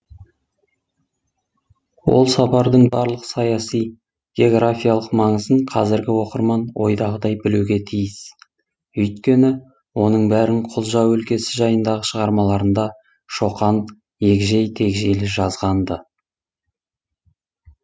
ол сапардың барлық саяси географиялық маңызын қазіргі оқырман ойдағыдай білуге тиіс өйткені оның бәрін құлжа өлкесі жайындағы шығармаларында шоқан егжей тегжейлі жазған ды